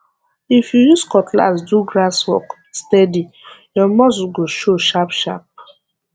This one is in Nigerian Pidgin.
if you use cutlass do grass work steady your muscle go show sharpsharp